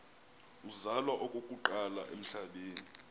uzalwa okokuqala emhlabeni